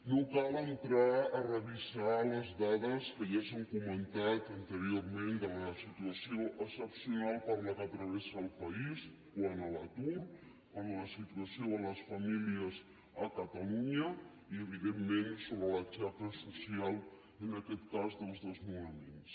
no cal entrar a revisar les dades que ja s’han comentat anteriorment de la situació excepcional per què travessa el país quant a l’atur quant a la situació de les famílies a catalunya i evidentment sobre la xacra social en aquest cas dels desnonaments